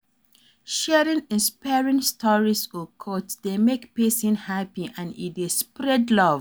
Sharing inspiring stories or quotes dey make pesin happy and e dey spread love.